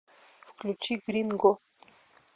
включи гринго